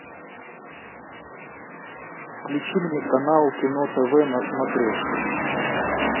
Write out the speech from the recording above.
включи мне канал кино тв на смотрешке